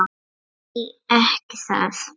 Já því ekki það?